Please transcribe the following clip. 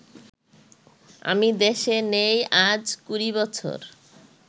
আমি দেশে নেই আজ কুড়ি বছর